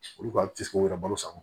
Olu ka wɛrɛ balo sann